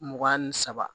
Mugan ni saba